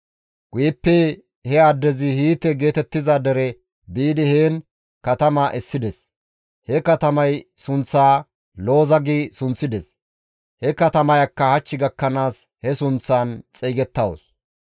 Guyeppe he addezi Hiite geetettiza dere biidi, heen katama essides; he katamay sunththaa Looza gi sunththides; he katamayakka hach gakkanaas he sunththaan xeygettawus.